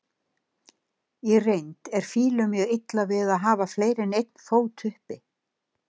Í reynd er fílum mjög illa við að hafa fleiri en einn fót uppi.